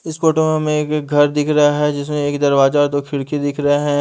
इस फोटो में एक घर दिख रहा है जिसमे एक दरवाज़ा और दो खिड़की दिख रहे हैं।